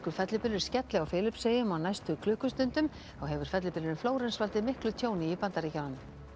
fellibylur skelli á Filippseyjum á næstu klukkustundum þá hefur fellibylurinn Flórens valdið miklu tjóni í Bandaríkjunum